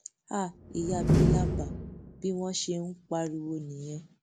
háà ìyá bílàbà bí wọn ṣe ń pariwo nìyẹn